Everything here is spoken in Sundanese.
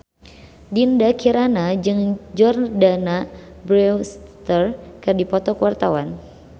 Dinda Kirana jeung Jordana Brewster keur dipoto ku wartawan